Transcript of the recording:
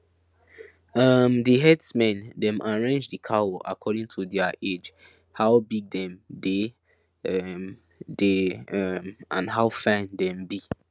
um the herdsmen dem arrange the cow according to their age how big them dey um dey um and how fine them be